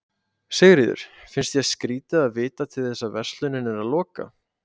Sigríður: finnst þér skrýtið að vita til þess að verslunin er að loka?